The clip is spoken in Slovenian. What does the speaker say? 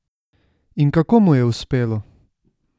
In kako mu je uspelo?